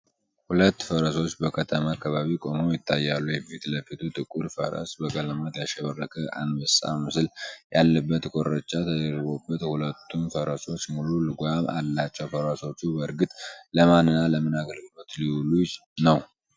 ሁለት ፈረሶች በከተማ አካባቢ ቆመው ይታያሉ። የፊት ለፊቱ ጥቁር ፈረስ በቀለማት ያሸበረቀ፣ አንበሳ ምስል ያለበት ኮርቻ ደርቦለታልሁለቱም ፈረሶች ሙሉ ልጓም አላቸው፤ ፈረሶቹ በእርግጥ ለማን እና ለምን አገልግሎት ሊውሉ ነው?